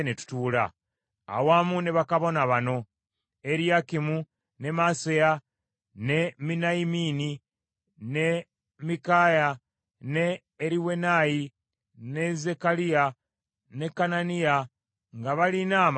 awamu ne bakabona bano: Eriyakimu, ne Maaseya, ne Miniyamini, ne Mikaaya, ne Eriwenayi, ne Zekkaliya, ne Kananiya nga balina amakondeere;